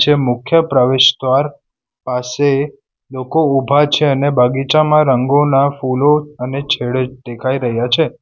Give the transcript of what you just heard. એ મુખ્ય પ્રવેશદ્વાર પાસે લોકો ઊભા છે અને બગીચામાં રંગોના ફૂલો અને છેડો દેખાઈ રહ્યા છે.